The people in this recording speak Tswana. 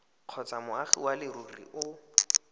kgotsa moagi wa leruri o